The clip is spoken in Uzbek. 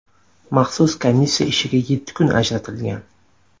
Maxsus komissiya ishiga yetti kun ajratilgan.